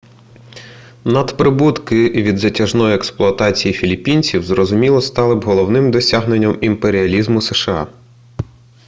надприбутки від затяжної експлуатації філіппінців зрозуміло стали б головним досягненням імперіалізму сша